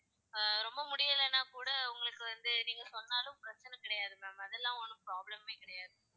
அஹ் ரொம்ப முடியலைன்னா கூட உங்களுக்கு வந்து, நீங்க சொன்னாலும் பிரச்சனை கிடையாது ma'am அதெல்லாம் ஒண்ணும் problem மே கிடையாது